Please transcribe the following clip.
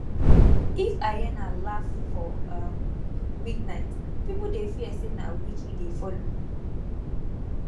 if hyena laugh for um midnight people dey fear say na witch e dey follow